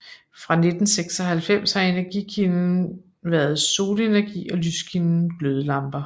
Fra 1996 har energikilden været solenergi og lyskilden glødelamper